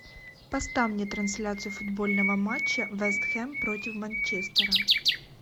поставь мне трансляцию футбольного матча вест хэм против манчестера